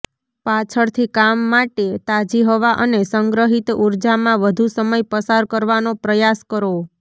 પાછળથી કામ માટે તાજી હવા અને સંગ્રહિત ઊર્જામાં વધુ સમય પસાર કરવાનો પ્રયાસ કરો